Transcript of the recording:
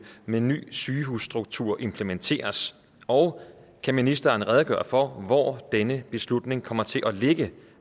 med ny sygehusstruktur implementeres og kan ministeren redegøre for hvor denne beslutning kommer til at ligge